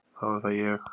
Þá er það ég.